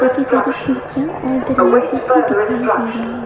सारी खिड़कियां और दरवाजे भी दिखाई दे रहे।